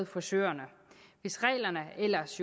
frisørerne hvis reglerne ellers